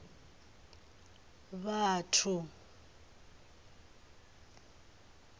vhathu